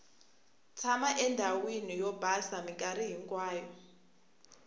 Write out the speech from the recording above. tshama endhawini o basa minkarhi hinkwayo